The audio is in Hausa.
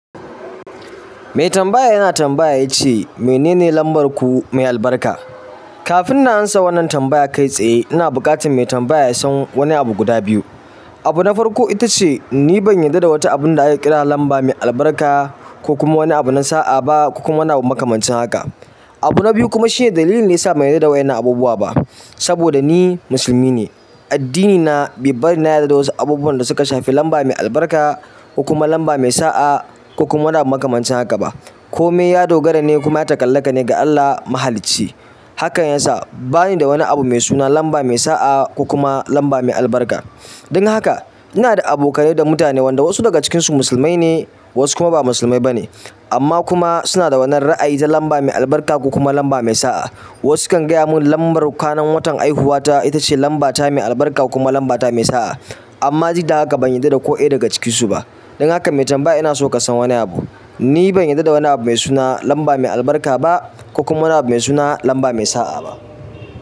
Mai tambaya yana tambaya yace mene ne lambar ku mai albarka. Kafin na amsa wannan tambaya kai tsaye, ina buƙatar mai tambaya ya san wani abu guda biyu. Abu na farko ita ce ni ban yarda da wata abun da aka kira lamba mai albarka ko kuma wani abu na sa'a ba ko kuma na makamancin haka. Abu na biyu kuma shine dalilin ne yasa ban yarda da waɗannan abubuwa ba. Saboda ni musulmi ne, addini na bai bari na yarda da wasu abubuwan da suka shafi lamba mai albarka ko kuma lamba mai sa'a ko kuma wani abu makamancin haka ba. Ko me ya dogara ne kuma ya ta'allaka ne ga Allah mahalici. Hakan yasa bani da wani abu mai suna lamba mai sa'a ko kuma lamba mai albarka. Don haka ina da abokane da mutane waɗanda wasu daga cikinsu musulmai ne wasu kuma ba musulmai ba ne amma kuma suna da wannan ra'ayi ta lamba mai albarka ko kuma lamba mai sa'a. Wasu kan gaya mun lambar ranar watan haihuwa ita ce lamba ta mai albarka ko kuma lamba ta mai sa'a amma duk haka ban yarda da ko ɗaya daga cikin su ba. Don haka mai tambaya ina so ka san wani abu. Ni ban yarda da wani abu mai suna lamba mai albarka ba ko kuma wani abu mai suna lamba mai sa'a ba.